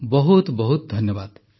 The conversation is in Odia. ବହୁତ ବହୁତ ଧନ୍ୟବାଦ